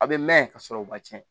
A bɛ mɛn ka sɔrɔ u ma cɛn